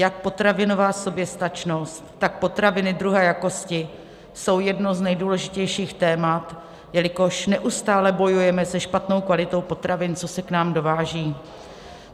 Jak potravinová soběstačnost, tak potraviny druhé jakosti jsou jedním z nejdůležitějších témat, jelikož neustále bojujeme se špatnou kvalitou potravin, co se k nám dováží.